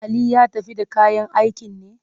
Ali ya tafi da kayan aikin ne?